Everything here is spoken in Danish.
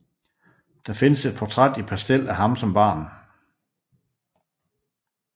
Der findes et portræt i pastel af ham som barn